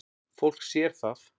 Fólk sér það.